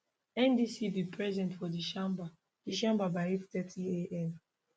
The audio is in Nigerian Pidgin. ndc bin present for di chamber di chamber by 830 am